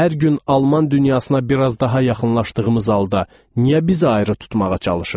Hər gün Alman dünyasına bir az da daha yaxınlaşdığımız halda niyə bizi ayrı tutmağa çalışır?